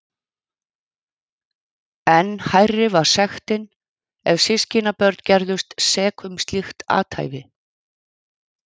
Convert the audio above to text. Enn hærri var sektin ef systkinabörn gerðust sek um slíkt athæfi.